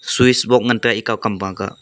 swish bok ngan tega ekau kam ba kah.